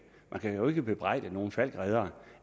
man kan jo ikke bebrejde nogen falckreddere